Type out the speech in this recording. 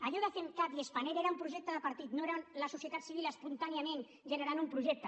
allò de femcat i spanair era un projecte de partit no era la societat civil espontàniament generant un projecte